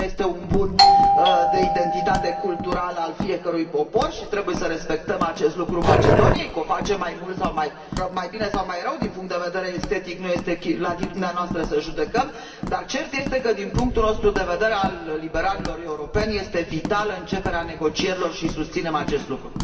Istoria este un bun de identitate culturală al fiecărui popor și trebuie să respectăm acest lucru Macedoniei că o facem mai mult sau mai bine sau mai rău, din punct de vedere estetic nu este la latitudinea noastră să judecăm, dar cert este că, din punctul nostru de vedere, al liberalilor europeni, este vitală începerea negocierilor și susținem acest lucru.